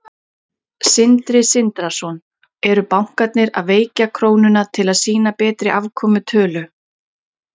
Sindri Sindrason: Eru bankarnir að veikja krónuna til að sýna betri afkomutölur?